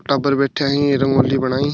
टाबर बेठिया ही रंगोली बनाई--